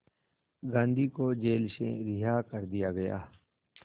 गांधी को जेल से रिहा कर दिया गया